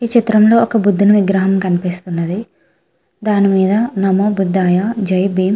ఈ చిత్రం లో ఒక బుద్దుని విగ్రహం కనిపిస్తున్నదిదాని మీద నమో బుధాయ జై భీం --